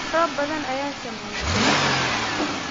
Roobab badan ayaa saameeya dalagyada.